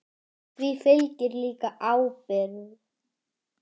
Því fylgir líka ábyrgð.